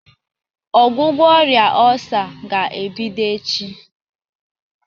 Ọgwụgwọ ọrịa ọsá ga ebido echi.